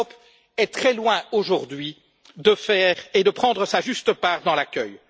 Mais l'Europe est très loin aujourd'hui de prendre sa juste part dans l'accueil.